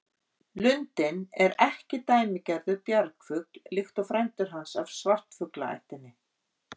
Lundinn er ekki dæmigerður bjargfugl líkt og frændur hans af svartfuglaættinni.